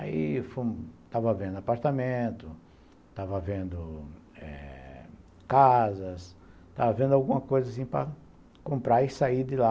Aí eu estava vendo apartamento, estava vendo eh casas, estava vendo alguma coisa assim para comprar e sair de lá.